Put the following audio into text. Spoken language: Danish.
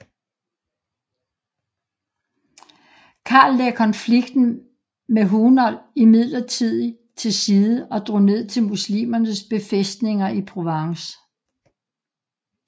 Karl lagde konflikten med Hunold midlertidig til side og drog ned til muslimernes befæstninger i Provence